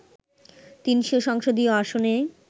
৩০০ সংসদীয় আসনে